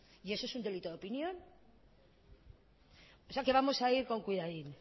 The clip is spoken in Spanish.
y eso es un delito de opinión o sea que vamos a ir con cuidadín